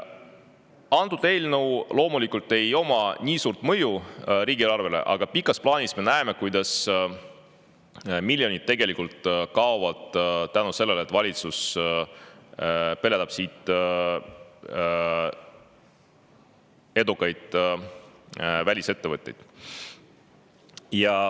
Antud eelnõu loomulikult ei oma nii suurt mõju riigieelarvele, aga pikas plaanis me näeme, kuidas miljonid tegelikult kaovad, kuna valitsus peletab siit edukaid välisettevõtteid.